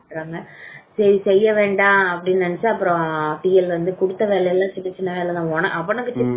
ஒரு மாதிரி பண்றாங்க சரி செய்ய வேண்டாம் அப்படின்னு நினைச்சா அப்புறம் TL வந்து கொடுத்த வேலையெல்லாம் சின்ன சின்ன வேலை